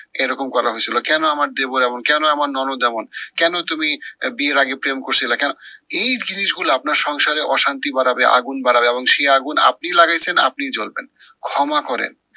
এরকম করা হয়েছিল? কেন আমার দেবর এমন, কেন আমার ননদ এমন? কেন তুমি বিয়ের আগে প্রেম করছিলা কেন? এই জিনিস গুলা আপনার সংসারে অশান্তি বাড়াবে আগুন বাড়াবে, এবং সেই আগুন আপনিই লাগাইছেন আপনিই জলবেন। ক্ষমা করেন